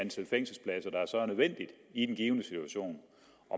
nødvendige i den givne situation